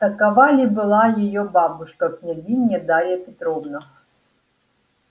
такова ли была её бабушка княгиня дарья петровна